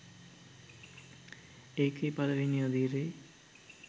ඒකේ පලවෙනි අදියරේ